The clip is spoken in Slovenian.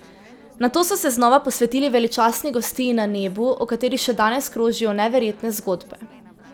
Nato so se znova posvetili veličastni gostiji na nebu, o kateri še danes krožijo neverjetne zgodbe.